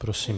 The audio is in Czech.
Prosím.